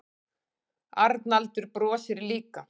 Arnaldur brosir líka.